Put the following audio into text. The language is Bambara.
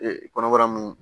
Ee kɔnɔbara nun